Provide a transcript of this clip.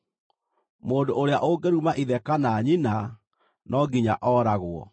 “Mũndũ ũrĩa ũngĩruma ithe kana nyina no nginya ooragwo.